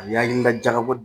hakilila jagabɔ